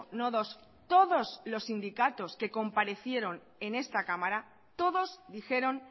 no dos todos los sindicatos que comparecieron en esta cámara todos dijeron